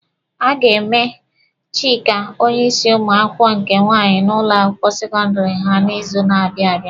A ga-eme Chika onye isi ụmụ akwụkwọ nke nwaanyị n'ụlọ akwụkwọ sekọndịrị ha n'izu na-abịa abịa.